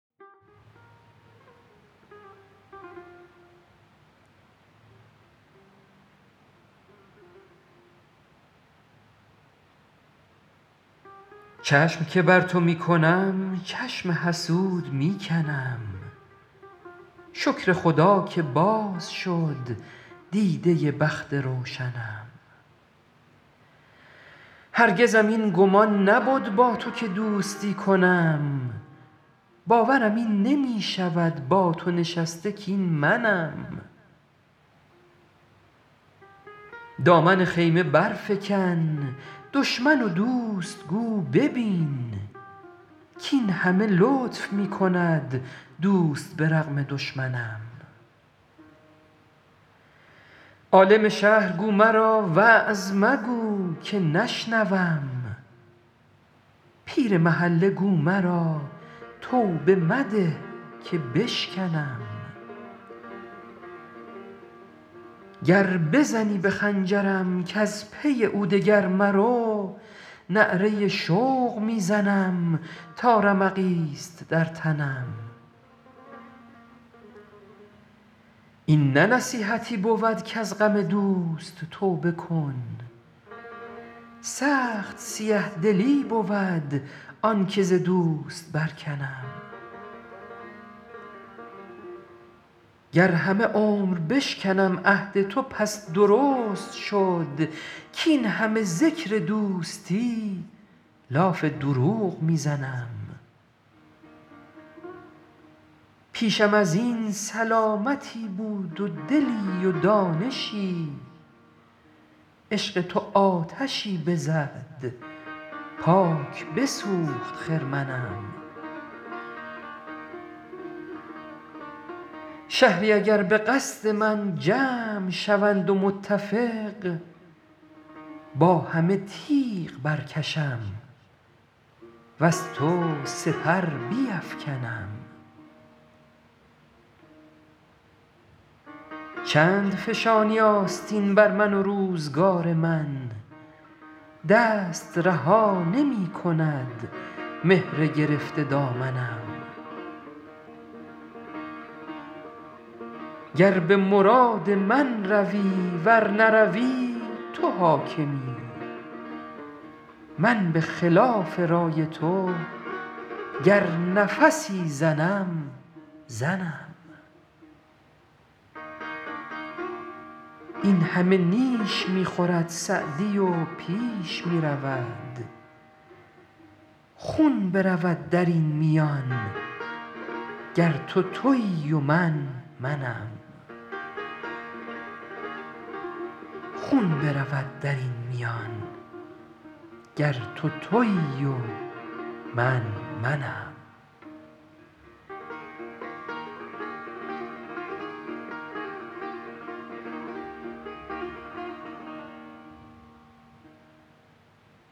چشم که بر تو می کنم چشم حسود می کنم شکر خدا که باز شد دیده بخت روشنم هرگزم این گمان نبد با تو که دوستی کنم باورم این نمی شود با تو نشسته کاین منم دامن خیمه برفکن دشمن و دوست گو ببین کاین همه لطف می کند دوست به رغم دشمنم عالم شهر گو مرا وعظ مگو که نشنوم پیر محله گو مرا توبه مده که بشکنم گر بزنی به خنجرم کز پی او دگر مرو نعره شوق می زنم تا رمقی ست در تنم این نه نصیحتی بود کز غم دوست توبه کن سخت سیه دلی بود آن که ز دوست برکنم گر همه عمر بشکنم عهد تو پس درست شد کاین همه ذکر دوستی لاف دروغ می زنم پیشم از این سلامتی بود و دلی و دانشی عشق تو آتشی بزد پاک بسوخت خرمنم شهری اگر به قصد من جمع شوند و متفق با همه تیغ برکشم وز تو سپر بیفکنم چند فشانی آستین بر من و روزگار من دست رها نمی کند مهر گرفته دامنم گر به مراد من روی ور نروی تو حاکمی من به خلاف رای تو گر نفسی زنم زنم این همه نیش می خورد سعدی و پیش می رود خون برود در این میان گر تو تویی و من منم